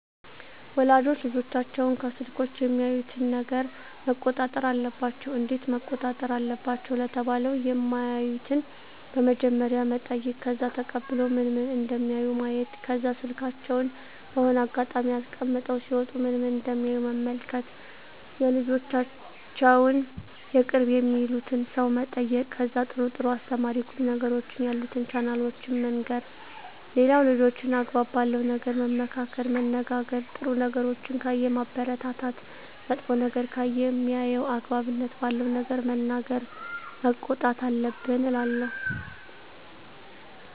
ወላጆች ልጆቻቸውን ከስልኮች የሚያዩትን ነገረ መቆጣጠር አለባቸው እንዴት መቆጣጠር አለባቸው ለተባለው የማዩትን በመጀመሪያ መጠይቅ ከዛ ተቀብሎ ምን ምን እደሚያዩ ማየት ከዛ ስልካቸውን በሆነ አጋጣሚ አስቀምጠው ሲወጡ ምን ምን እደሚያዩ መመልከት የልጆቻቸውን የቅርብ የሚሉትን ሰው መጠየቅ ከዛ ጥሩ ጥሩ አስተማሪ ቁም ነገሮችን ያሉትን ቻናሎችን መንገር ሌላው ልጆችን አግባብ ባለው ነገር መመካከር መነጋገር ጥሩ ነገሮችን ካየ ማበረታታት መጥፎ ነገር ከሆነ ሜያየው አግባብነት ባለው ነገር መናገር መቆጣት አለብን እላለው